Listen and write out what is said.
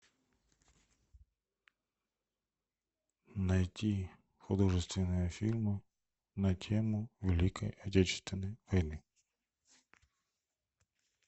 найти художественные фильмы на тему великой отечественной войны